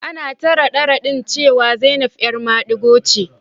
Ana ta rade-radin cewa Zainab 'yar madigo ce.